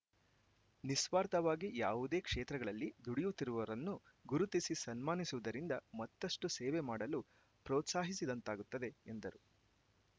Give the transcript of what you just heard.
ನಿಸ್ವಾರ್ಥವಾಗಿ ಯಾವುದೇ ಕ್ಷೇತ್ರಗಳಲ್ಲಿ ದುಡಿಯುತ್ತಿರುವವರನ್ನು ಗುರುತಿಸಿ ಸನ್ಮಾನಿಸುವುದರಿಂದ ಮತ್ತಷ್ಟುಸೇವೆ ಮಾಡಲು ಪ್ರೊತ್ಸಾಹಿಸಿದಂತಾಗುತ್ತದೆ ಎಂದರು